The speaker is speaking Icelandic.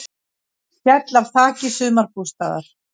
Féll af þaki sumarbústaðar